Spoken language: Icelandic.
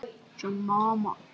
Að mega og geta þetta.